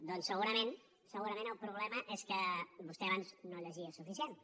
doncs segurament segurament el problema és que vostè abans no llegia suficientment